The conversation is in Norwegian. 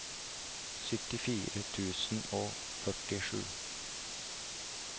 syttifire tusen og førtisju